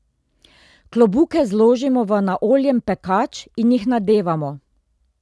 Klobuke zložimo v naoljen pekač in jih nadevamo.